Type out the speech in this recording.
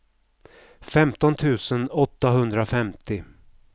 femton tusen åttahundrafemtio